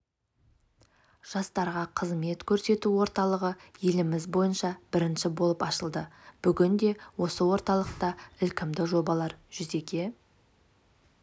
жастарға қызмет көрсету орталығы еліміз бойынша бірінші болып ашылды бүгінде осы орталықта ілкімді жобалар жүзеге